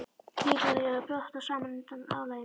Líklega var ég að brotna saman undan álaginu.